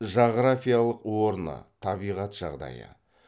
жағрафиялық орны табиғат жағдайы